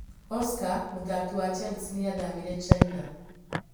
Oscar: Muthaki wa Chelsea niathamiire China